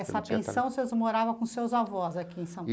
Essa pensão, vocês moravam com seus avós aqui em